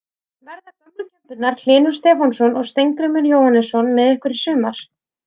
Verða gömlu kempurnar Hlynur Stefánsson og Steingrímur Jóhannesson með ykkur í sumar?